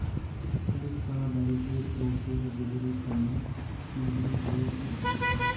police ਦਾ barricade ਤੋੜ ਕੇ ਗੁਜ਼ਰੇ ਖਣਨ ਸਮੱਗਰੀ ਦੇ ਭਰੇ ਟਿੱਪਰ